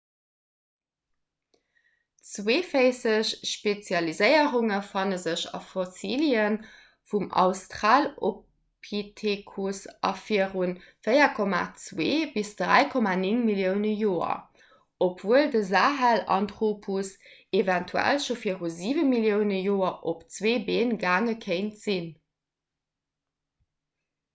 zweeféisseg spezialiséierunge fanne sech a fossilie vum australopithecus vu viru 4,2 - 3,9 millioune joer obwuel de sahelanthropus eventuell scho viru 7 millioune joer op zwee been gaange kéint sinn